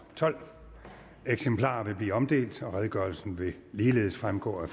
tolvte eksemplarer vil blive omdelt og redegørelsen vil ligeledes fremgå af